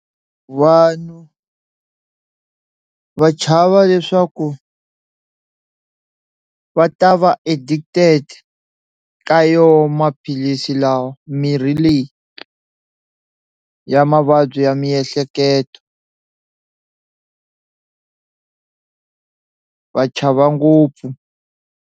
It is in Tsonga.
Vanhu va chava leswaku va ta va addicted ka yoho maphilisi lawa mirhi leyi ya mavabyi ya miehleketo va chava ngopfu.